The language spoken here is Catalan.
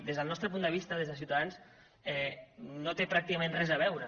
des del nostre punt de vista des de ciutadans no té pràcticament res a veure